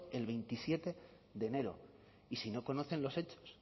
el veintisiete de enero y si no conocen los hechos